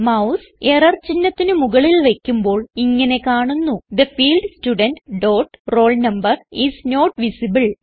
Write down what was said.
mouse error ചിഹ്നത്തിന് മുകളിൽ വയ്ക്കുമ്പോൾ ഇങ്ങനെ കാണുന്നു the field student dot roll number is not visible